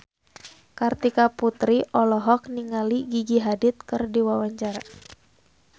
Kartika Putri olohok ningali Gigi Hadid keur diwawancara